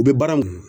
U bɛ baara mun